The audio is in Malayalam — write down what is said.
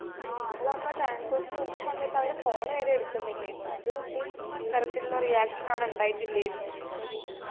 ആ അവളെ അമ്മ transorze ല് വിളിച്ച സമയത്തവര് phone വരെ എടുക്കുന്നില്ലേഞ്ഞു ഒരു ഇതിൽ തരത്തിലുള്ള reaction അവിടെ ഇണ്ടായിട്ടില്ലേരുന്നു